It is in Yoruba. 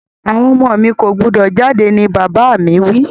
Àwon ọmọ mi ko gbúdọ̀ jáde ni bàbà mi wi